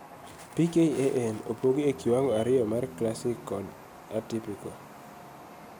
PKAN opogi e kiwango ariyo mar classic kod atypical